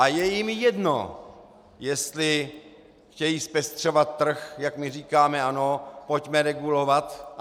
A je jim jedno, jestli chtějí zpestřovat trh, jak my říkáme ano, pojďme regulovat.